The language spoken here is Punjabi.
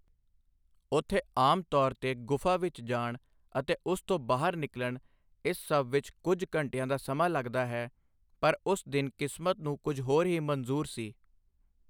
ਉੱਥੇ ਆਮ ਤੌਰ ਤੇ ਗੁਫ਼ਾ ਵਿੱਚ ਜਾਣ ਅਤੇ ਉਸ ਚੋਂ ਬਾਹਰ ਨਿਕਲਣ, ਇਸ ਸਭ ਵਿੱਚ ਕੁਝ ਘੰਟਿਆਂ ਦਾ ਸਮਾਂ ਲਗਦਾ ਹੈ, ਪਰ ਉਸ ਦਿਨ ਕਿਸਮਤ ਨੂੰ ਕੁਝ ਹੋਰ ਹੀ ਮਨਜ਼ੂਰ ਸੀ।